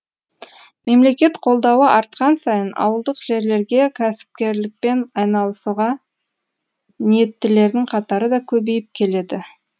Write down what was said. мемлекет қолдауы артқан сайын ауылдық жерлерге кәсіпкерлікпен айналысуға ниеттілердің қатары да көбейіп келеді